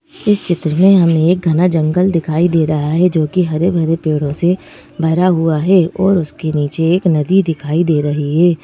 इस चित्र में हमें एक घना जंगल दिखाई दे रहा है जोकि हरे भरे पेड़ों से भरा हुआ है और उसके नीचे एक नदी दिखाई दे रही है।